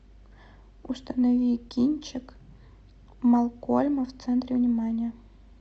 установи кинчик малкольма в центре внимания